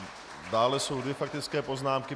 Dále jsou dvě faktické poznámky.